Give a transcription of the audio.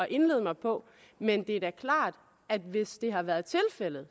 indlade mig på men det er da klart at hvis det har været tilfældet